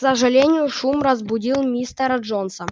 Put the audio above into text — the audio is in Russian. к сожалению шум разбудил мистера джонса